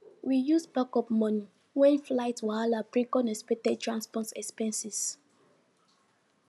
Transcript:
we use backup money when flight wahala bring unexpected transport expenses